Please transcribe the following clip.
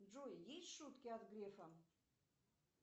джой есть шутки от грефа